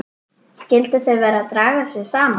Skyldu þau vera að draga sig saman?